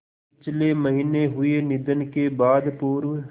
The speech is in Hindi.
पिछले महीने हुए निधन के बाद पूर्व